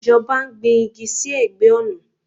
Ìjọba ń gbin igi sí ẹ̀gbẹ́ ọ̀nà.